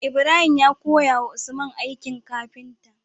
Ibrahim ya koya wa usman aikin kafinta